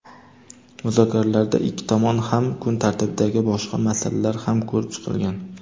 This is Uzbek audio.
Muzokaralarda ikki tomon kun tartibidagi boshqa masalalar ham ko‘rib chiqilgan.